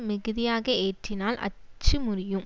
மிகுதியாக ஏற்றினால் அச்சு முறியும்